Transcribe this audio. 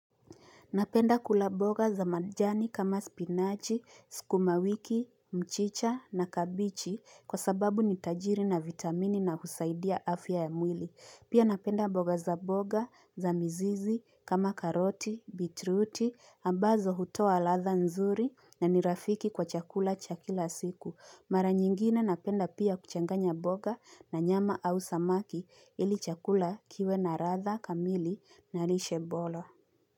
Napenda kula boga za majani kama spinachi, skuma wiki, mchicha na kabichi kwa sababu ni tajiri na vitamini na husaidia afya ya mwili. Pia napenda boga za boga za mzizi kama karoti, bitruti, ambazo hutoa ladha nzuri na nirafiki kwa chakula cha kila siku. Mara nyingine napenda pia kuchanganya boga na nyama au samaki ili chakula kiwe na ladha kamili na lishe bora.